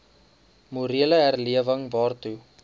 morele herlewing waartoe